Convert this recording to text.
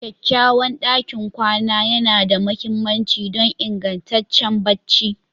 Kyakkyawan ɗakin kwana yana da mahimmanci don ingantaccen barci